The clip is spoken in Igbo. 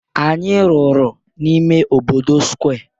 Anyị rụrụ n'ime obodo Square